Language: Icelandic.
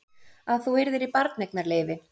Að þú yrðir í barneignarleyfi.